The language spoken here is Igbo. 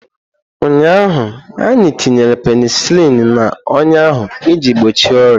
Ụnyaahụ, anyị tinyere penisilini n'ọnya ahụ iji gbochie ọrịa.